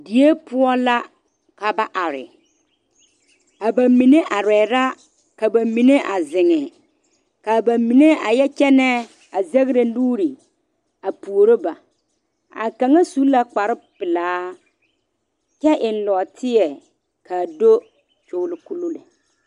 Die poɔ la ka ba are a ba mine are la ka ba mine a zeŋ kaa ba mine a yɛ kyɛne zagre nuure a puoro ba kaŋa su la kpare pelaa kyɛ eŋ nɔɔteɛ kaa do kyɔlo kolo lɛ.